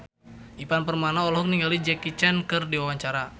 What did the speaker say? Ivan Permana olohok ningali Jackie Chan keur diwawancara